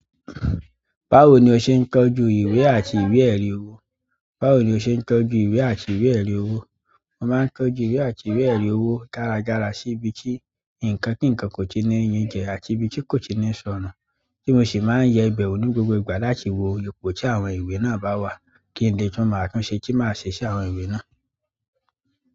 Báwo ni o ṣe ń tọ́jú ìwẹ̀ àti ìwé-ẹ̀rí owó? Báwo ni o ṣe ń tọ́jú ìwé àti ìwé-ẹ̀rí owó? Mo máa ń tọ́jú ìwé àti ìwé-ẹ̀rí ọwọ dáradára sí ibi tí nǹkan kí nǹkan kò tíì ní yín jẹ àti ibi tí kò tíì ní sọnù, tí mo sì máa ń yẹ ibẹ̀ wò ní gbogbo ìgbà láti wo ipò tí àwọn ìwé náà bá wà kí n de tun mó àtúnṣe tí màá ṣe àwọn ìwé náà.